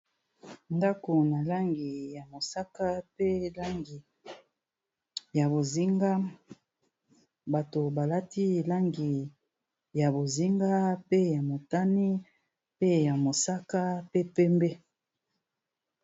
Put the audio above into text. Ndako na langi ya mosaka, pe langi ya bozinga bato balati langi ya bozinga, pe ya motani, pe ya mosaka pe pembe.